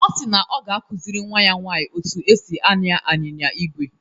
Ọ si na ọ ga-akụziri nnwa ya nwaanyị otú e si ànyá anyịnya ígwè